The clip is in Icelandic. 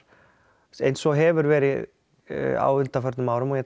eins og hefur verið á undanförnum árum og ég